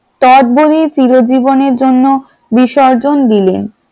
তোৎবলি চিরজীবনের জন্য বিসর্জন দিলেন ।